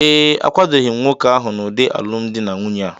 ee, akwadoghị m nwoke ahụ n’ụdị alụmdi na nwunye a